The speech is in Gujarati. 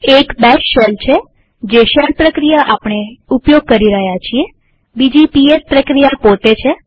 એક બેશ છેજે શેલ પ્રક્રિયા આપણે ઉપયોગ કરી રહ્યા છીએબીજી પીએસ પ્રક્રિયા પોતે